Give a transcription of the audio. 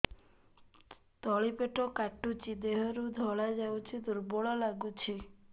ତଳି ପେଟ କାଟୁଚି ଦେହରୁ ଧଳା ଯାଉଛି ଦୁର୍ବଳ ଲାଗୁଛି